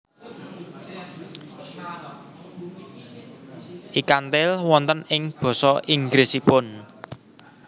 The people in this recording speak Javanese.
Ikan Tail wonten ing basa Inggrisipun